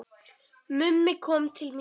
Mummi kom til mín í